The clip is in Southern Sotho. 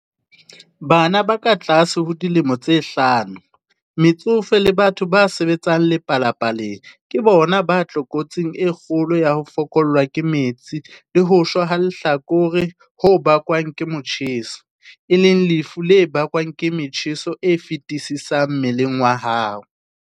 Bana ba katlase ho dilemo tse hlano, metsofe le batho ba sebetsang lepalapaleng ke bona ba tlokotsing e kgolo ya ho fokollwa ke metsi le ho shwa lehlakore ho bakwang ke motjheso, e leng lefu le bakwang ke motjheso o feti-sisang mmeleng wa hao.